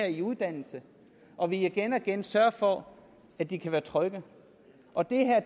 i uddannelse og at vi igen og igen sørger for at de kan være trygge og det her